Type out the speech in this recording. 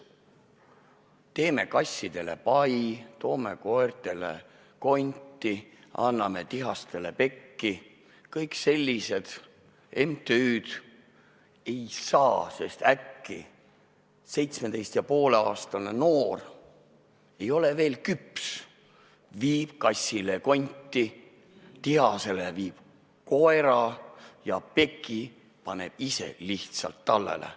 Teeme kassidele pai, toome koertele konti, anname tihastele pekki – kõik sellised MTÜ-d ei saa neid noori vastu võtta, sest äkki 17,5-aastane noor ei ole veel küps, viib kassile konti, tihasele viib koera ja peki paneb lihtsalt endale tallele.